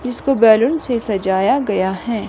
इसको बैलून से सजाया गया हैं।